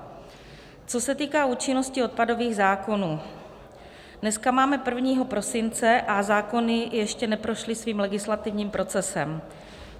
Co se týká účinnosti odpadových zákonů, dneska máme 1. prosince a zákony ještě neprošly svým legislativním procesem.